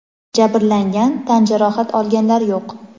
Jabrlangan, tan jarohat olganlar yo‘q.